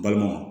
Balimaw